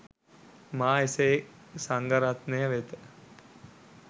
මා එසේ සංඝරත්නය වෙත